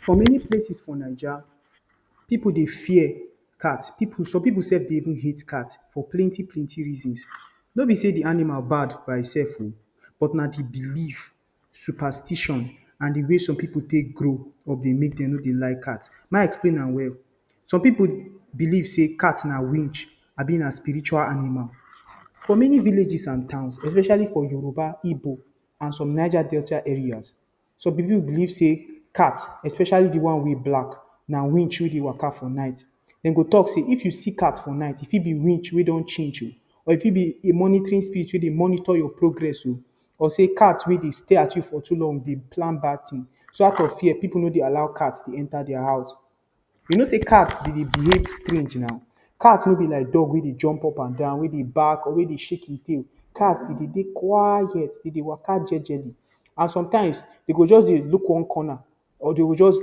For many places for Naija, pipu dey fear cat. Some pipu sef hate cat for plenty, plenty reasons. No be say the animal bad by e sef oh! But na the believe, superstition and the way some pipu take grow dey make dem no dey like cat. May I explain am well. Some pipu believe say cat na winch abi na spiritual animal. For many villages and towns, especially for Yoruba, Igbo, and some Niger Delta areas, some pipu believe say cat—especially the one wey black—na winch wey dey waka for night. Dey go talk say if you see cat for night, e fit be winch wey don change oh! Or e fit be a monitoring spirit wey dey monitor your progress oh! Or say cat wey dey stay at home for too long dey plan bad thing. So out of fear, pipu no dey allow cats enter their house. You know say cat dey dey behave strange now! Cat no be like dog wey dey jump upandan, wey dey bark or wey dey shake e tail. Cats dey dey quiet. Dey dey waka jejely. And sometimes, dey go just dey look one corner or dey go just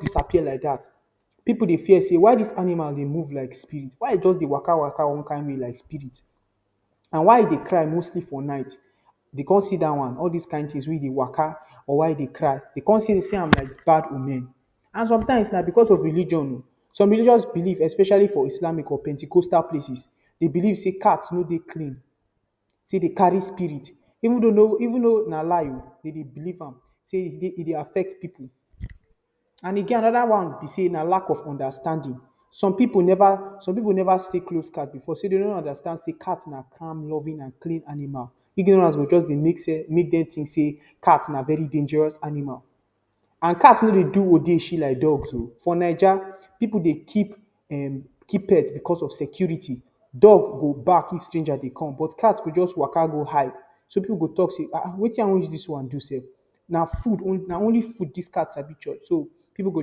disappear like dat. Pipu dey fear say, why dis animal dey move like spirit? Why e just dey waka waka like spirit? And why e dey cry mostly for night? Dey con see dat one. All dis things wey dey waka or why e dey cry—dey con see am like bad omen. And sometimes na because of religion oh! Some religious belief, especially for Islamic or Pentecostal places, dey believe say cat no dey clean. Say dey carry spirit—even though na lie oh! Dey dey believe am. Say e dey affect pipu. And e get another one be say na lack of understanding. Some pipu never stay close to cat before so dey no go understand say cat na calm, loving and clean animal. Ignorance go just make dem think say cat na very dangerous animal. And cat no dey do odeshi like dogs oh! For Naija, pipu dey keep pets because of security. Dog go bark if stranger dey come, but cat go just waka go hide. So pipu go talk say, “Wetin I wan use dis one do sef? Na only food dis cat sabi chop so.” So pipu go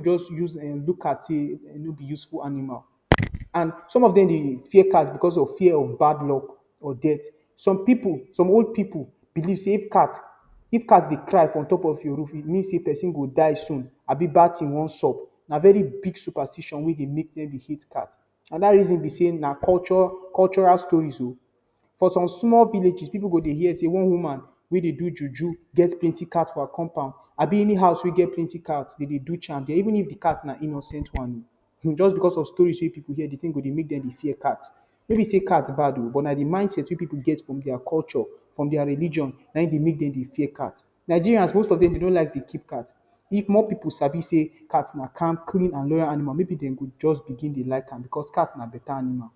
just look cat say “ehn! No be useful animal.” And some of dem dey fear cat because of fear of bad luck or death. Some pipu—some old pipu—believe say if cat dey cry on top of your roof, e mean say pesin go die soon abi bad thing wan sub. Na very big superstition wey dey make dem dey hate cat. Another reason be say na cultural stories oh! For some small villages, pipu go dey hear say one woman wey dey do juju get plenty cat for her compound. Abi any house wey get plenty cats dey do charm there—even if cat na innocent one. Just because of stories wey pipu hear, the thing go dey make dem dey fear cats. No be say cats bad oh! But na the mindset wey pipu get from their culture, from their religion—na hin dey make dem dey fear cats. Nigerians, most of dem no like to dey keep cats. If more pipu sabi say cats na calm, clean and loyal animal, more pipu dem go just begin dey like am—because cat na beta animal.